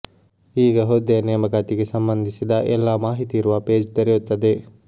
ಈಗ ಹುದ್ದೆಯ ನೇಮಕಾತಿಗೆ ಸಂಬಂಧಿಸಿದ ಎಲ್ಲಾ ಮಾಹಿತಿ ಇರುವ ಪೇಜ್ ತೆರೆಯುತ್ತದೆ